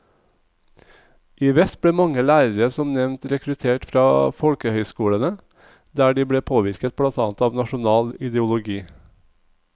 I vest ble mange lærere som nevnt rekruttert fra folkehøyskolene, der de ble påvirket blant annet av nasjonal ideologi.